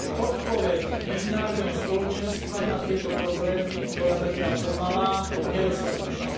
Odpoveď medzinárodného spoločenstva na tieto problémy bola zatiaľ pomalá a nedostatočná.